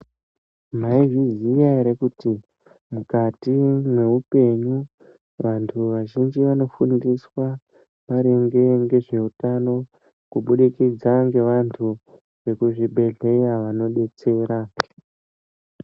Maizviziya here kuti mukati meupenyu, vantu vazhinji vanofundiswe maringe nezveutano kuburikidza ngevantu vekuzvibhehlera vanodetsera.